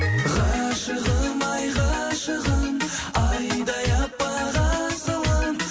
ғашығым ай ғашығым айдай аппақ асылым